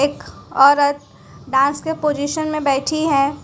एक औरत डांस के पोजीशन में बैठी है।